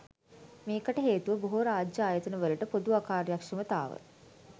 මේකට හේතුව බොහෝ රාජ්‍ය ආයතන වලට පොදු අකාර්යක්‍ෂමතාව.